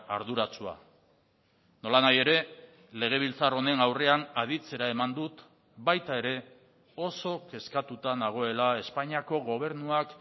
arduratsua nolanahi ere legebiltzar honen aurrean aditzera eman dut baita ere oso kezkatuta nagoela espainiako gobernuak